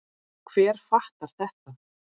Og hver fattar þetta?